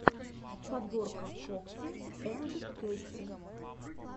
подборка фокси анд кэтти